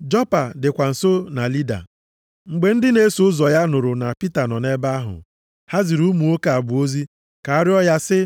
Jopa dịkwa nso na Lida. Mgbe ndị na-eso ụzọ ya nụrụ na Pita nọ nʼebe ahụ, ha ziri ụmụ nwoke abụọ ozi ka a rịọọ ya, sị,